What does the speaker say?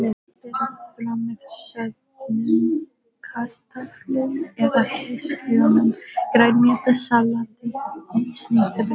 Berið fram með soðnum kartöflum eða hrísgrjónum, grænmetissalati og snittubrauði.